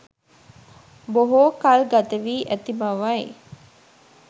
බොහෝ කල් ගත වි ඇති බවයි.